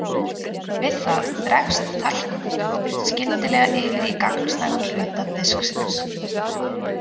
Við það dregst talkúm-duftið skyndilega yfir í gagnstæðan hluta disksins.